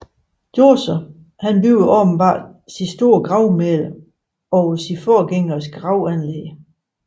Djoser byggede åbenbart sit store gravmæle over sine forgængeres gravanlæg